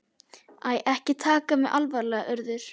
Æ, ekki taka mig alvarlega, Urður.